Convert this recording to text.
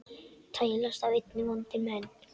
tælast af einni vondir menn